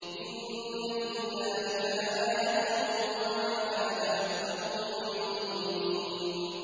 إِنَّ فِي ذَٰلِكَ لَآيَةً ۖ وَمَا كَانَ أَكْثَرُهُم مُّؤْمِنِينَ